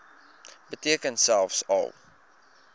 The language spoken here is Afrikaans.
beteken selfs al